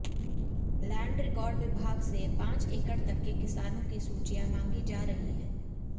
land record विभाग से पांच एकड़ तक के किसानों की सूचियां मांगी जा रही हैं